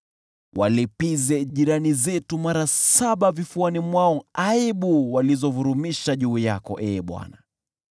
Walipize jirani zetu mara saba vifuani mwao aibu walizovurumisha juu yako, Ee Bwana .